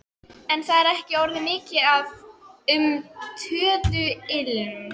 En það er ekki orðið mikið um töðuilm.